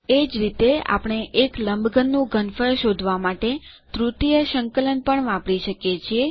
એ જ રીતે આપણે એક લંબઘન નું ઘનફળ શોધવાં માટે તૃતીય સંકલન પણ વાપરી શકીએ છીએ